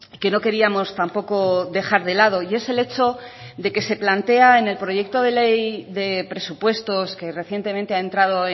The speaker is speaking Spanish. que no queríamos tampoco dejar de lado y es el hecho que se plantea en el proyecto de ley de presupuesto que recientemente ha entrado